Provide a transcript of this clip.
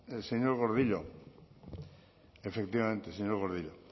señor gordillo efectivamente señor gordillo